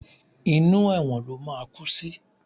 Inú ẹ̀wọ̀n ló máa kú sí!